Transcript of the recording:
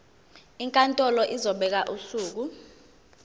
inkantolo izobeka usuku